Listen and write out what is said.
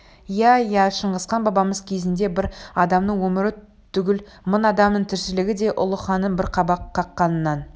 иә иә шыңғысхан бабамыз кезінде бір адамның өмірі түгіл мың адамның тіршілігі де ұлы ханның бір қабақ қаққанынан